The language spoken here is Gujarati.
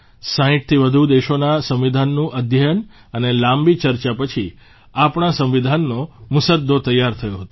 60થી વધુ દેશોના સંવિધાનનું અધ્યયન અને લાંબી ચર્ચા પછી આપણા સંવિધાનનો મુસદ્દો તૈયાર થયો હતો